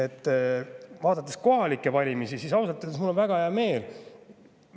Kui ma vaatan kohalikke valimisi, siis ausalt öeldes on mul väga hea meel.